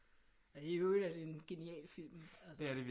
At det i øvrigt er det en genial film altså